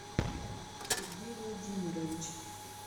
сергей владимирович